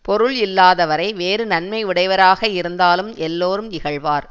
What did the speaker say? பொருள் இல்லாதவரை வேறு நன்மை உடையவராக இருந்தாலும் எல்லாரும் இகழ்வார்